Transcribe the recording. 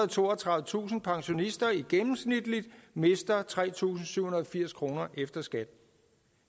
og toogtredivetusind pensionister gennemsnitligt mister tre tusind syv hundrede og firs kroner efter skat